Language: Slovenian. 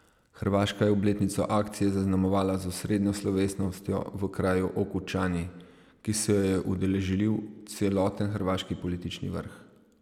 Hrvaška je obletnico akcije zaznamovala z osrednjo slovesnostjo v kraju Okučani, ki se jo je udeležil celoten hrvaški politični vrh.